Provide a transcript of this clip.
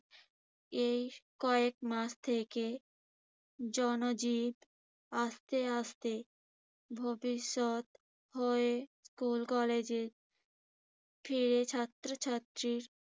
এই কয়েকমাস থেকে জনজীবন আস্তে আস্তে ভবিষ্যৎ হয়ে। স্কুল-কলেজে ফিরে ছাত্রছাত্রী